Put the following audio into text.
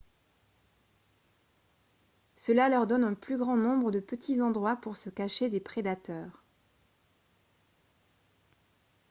cela leur donne un plus grand nombre de petits endroits pour se cacher des prédateurs